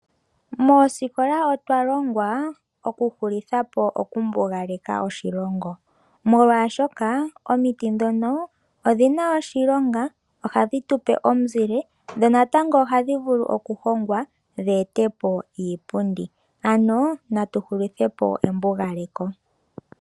Moosikola otwa longwa okuhulitha po okumbugaleka oshilongo molwashoka omiti dhono odhi na oshilonga, ohadhi tu pe omuzile dho natango ohadhi vulu okuhongwa dhi ete po iipundi. Ano na tu hulithe po embugaleko.